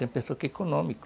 Tem pessoa que é econômica.